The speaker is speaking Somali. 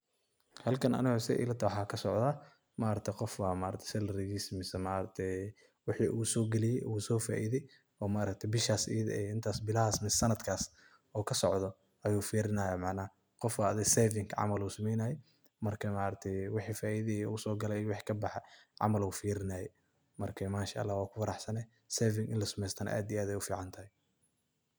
Halkan Anika setha elatahaay waxa kasocdah, maaragtay Qoof salary kisa isticmalaya maaragtay wixi oo sogaliye waxu faaithay maargtahay beshasi eyadi eeh intaas beelahas iyo santkass oo kasocdoh ayu feerinaya macanaha Qoof Aya saving macanaha oo lo sameeynay marka maaragtay wixi faitho iyo u sokali iyo wixi kabaxay caml ayu feerinaya marka manshaalah wanku faraxsanahay sethasi ini la sameeystoh aad iyo aad Aya u ficantahay.